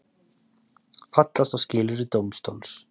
Fallast á skilyrði dómstóls